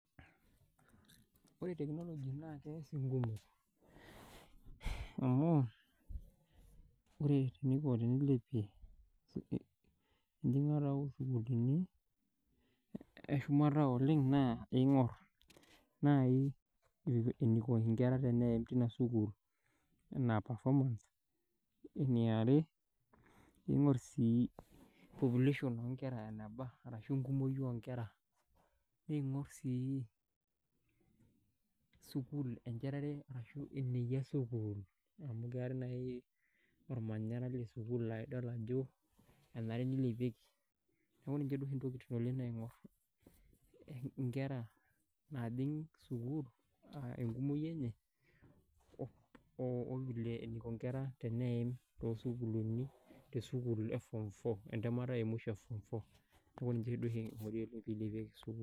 Ore technology naa kees inkumok amu ore teniko, tenilepie enjing'ata oo sukuulini e shumata oleng naa eing'orr naai eniko nkera eneim teina sukuul enaa performance. Eniare, iing'urr sii population oo nkera enaba ashu enkumoi oo nkera. Niing'urr sii sukuul enchetare ashu eneyia sukuul amu keetae naai ormanyara le sukuul laidol ajo enare nilepieki. Neeku ninche duo oshi intokiting oleng naing'urr nkera naajing' sukuul aa enkumoi enye o vile eniko inkera teneim toosukuulini te sukuul e form four entemata e musho e form four neeku ninche duo oshi ing'uri peilepieki sukuul